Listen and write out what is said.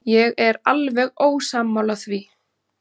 Ég er alveg ósammála því.